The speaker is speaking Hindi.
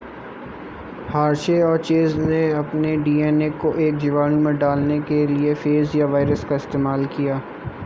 हर्शे और चेज़ ने अपने डीएनए को एक जीवाणु में डालने के लिए फेज या वायरस का इस्तेमाल किया